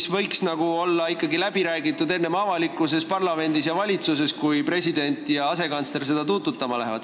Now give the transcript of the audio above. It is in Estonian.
See võiks ikkagi olla läbi räägitud avalikkuses, parlamendis ja valitsuses, enne kui president ja asekantsler seda tuututama lähevad.